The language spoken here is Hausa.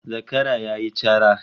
Zakara yayi cara